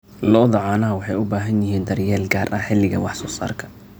Lo'da caanaha waxay u baahan yihiin daryeel gaar ah xilliga wax soo saarka.